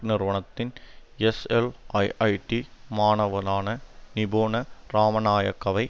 நிறுவனத்தின் எஸ்எல்ஐஐடி மாணவனான நிபுன ராமநாயக்கவை